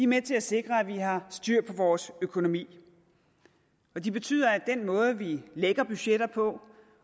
med til at sikre at vi har styr på vores økonomi og de betyder at den måde vi lægger budgetter på